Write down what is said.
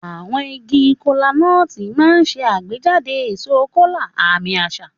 Àwọn igi Kola-nut máa ń ṣe àgbéjáde èso kola, àmì àṣà.